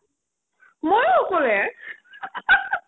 মইও অকলে